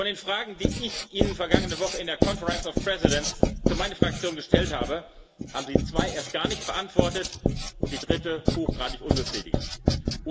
Von den Fragen, die ich Ihnen vergangene Woche in der Konferenz der Präsidenten für meine Fraktion gestellt habe, haben Sie zwei erst gar nicht und die dritte hochgradig unbefriedigend beantwortet.